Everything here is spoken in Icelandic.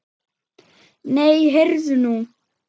Nei, heyrðu nú.